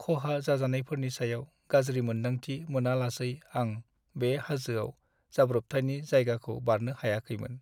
खहा जाजानायफोरनि सायाव गाज्रि मोन्दांथि मोनालासै आं बे हाजोआव जाब्रबथायनि जायगाखौ बारनो हायाखैमोन।